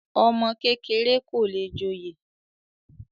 ọmọ kékeré kò le joyè